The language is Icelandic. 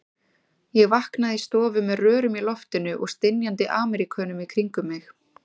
Ég vaknaði í stofu með rörum í loftinu og stynjandi Ameríkönum í kringum mig.